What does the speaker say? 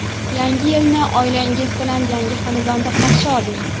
Yangi yilni oilangiz bilan yangi xonadonda qarshi oling!